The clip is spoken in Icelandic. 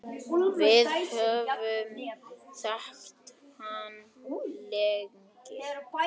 Við höfum þekkt hann lengi.